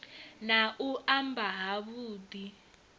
na u mba ha vhudi